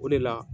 O de la